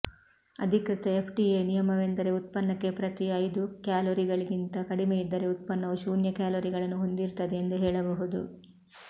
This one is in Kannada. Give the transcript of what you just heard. ಅಧಿಕೃತ ಎಫ್ಡಿಎ ನಿಯಮವೆಂದರೆ ಉತ್ಪನ್ನಕ್ಕೆ ಪ್ರತಿ ಐದು ಕ್ಯಾಲೋರಿಗಳಿಗಿಂತ ಕಡಿಮೆಯಿದ್ದರೆ ಉತ್ಪನ್ನವು ಶೂನ್ಯ ಕ್ಯಾಲೊರಿಗಳನ್ನು ಹೊಂದಿರುತ್ತದೆ ಎಂದು ಹೇಳಬಹುದು